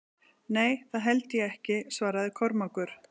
Nei, það held ég ekki, svaraði Kormákur.